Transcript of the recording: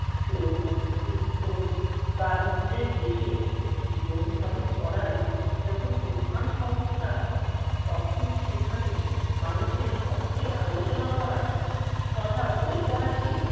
শোক, দুঃখ, দারিদ্র্যের দেশে জীবনধারণ করাই যখন প্রধান সমস্যা তখন সেখানে মানুষের শখের আলোচনা করা তথা বই পড়াকে